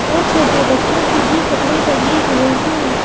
और छोटे बच्चों के भी कपड़े टंगे हुए हैं।